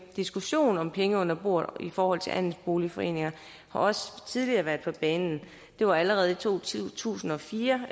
diskussion om penge under bordet i forhold til andelsboligforeninger har også tidligere været på banen det var allerede i to tusind og fire